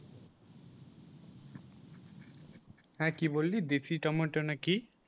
হ্যাঁ কি বললি, দেশি টমেটো নাকি